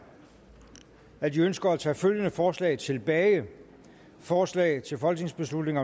at de ønsker at tage følgende forslag tilbage forslag til folketingsbeslutning